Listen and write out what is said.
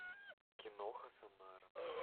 киноха самара